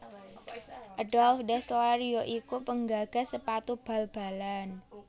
Adolf Dassler ya iku penggagas sepatu bal balalan